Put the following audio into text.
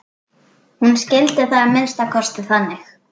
Hún skildi það að minnsta kosti þannig.